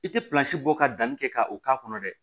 I tɛ bɔ ka danni kɛ ka o k'a kɔnɔ dɛ